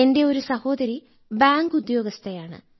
എന്റെ ഒരു സഹോദരി ബാങ്കുദ്യോഗസ്ഥയാണ്